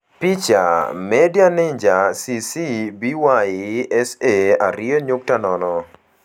Picha: MĂdia Ninja CC BY-SA 2.0